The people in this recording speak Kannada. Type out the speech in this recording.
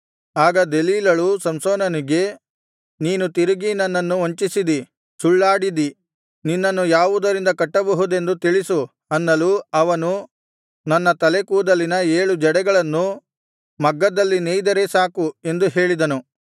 ಆಗ ದೆಲೀಲಳು ಸಂಸೋನನಿಗೆ ನೀನು ತಿರುಗಿ ನನ್ನನ್ನು ವಂಚಿಸಿದಿ ಸುಳ್ಳಾಡಿದಿ ನಿನ್ನನ್ನು ಯಾವುದರಿಂದ ಕಟ್ಟಬಹುದೆಂದು ತಿಳಿಸು ಅನ್ನಲು ಅವನು ನನ್ನ ತಲೆಕೂದಲಿನ ಏಳು ಜಡೆಗಳನ್ನು ಮಗ್ಗದಲ್ಲಿ ನೇಯಿದರೆ ಸಾಕು ಎಂದು ಹೇಳಿದನು